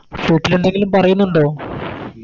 വീട്ടിലെന്തെങ്കിലും പറയുന്നുണ്ടോ